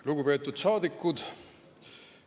Lugupeetud saadikud!